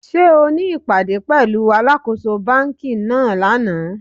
Sé o ní ìpàdé pẹ̀lúu alákōso banki náà lánàá?